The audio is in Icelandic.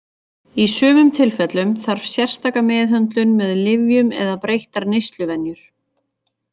Í sumum tilfellum þarf sérstaka meðhöndlun með lyfjum eða breyttar neysluvenjur.